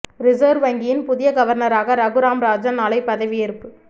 reserve வங்கியின் புதிய கவர்னராக ரகுராம் ராஜன் நாளை பதவி ஏற்பு